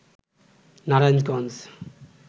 Narayanganj